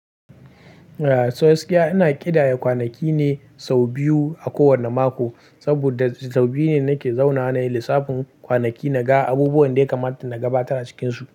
So waskiya ina ƙidaya kwanaki ne sau biyu a kowanne mako, saboda sau biyu ne nake zaunawa nayi lissafin kwanaki naga abubuwan da ya kamata na gabatar a cikinsu.